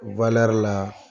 la.